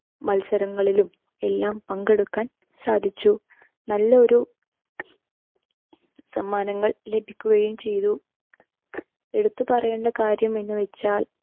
മത്സരങ്ങളിലും എല്ലാം പങ്കെടുക്കാൻ സാധിച്ചു. നല്ലൊരു സമ്മാനങ്ങൾ ലഭിക്കുകയും ചെയ്തു. എടുത്തുപറയേണ്ട കാര്യമെന്ന് വച്ചാൽ